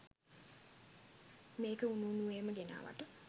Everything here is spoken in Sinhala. මේක උණු උණුවේම ගෙනාවට.